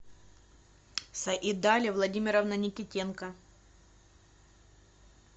саидали владимировна никитенко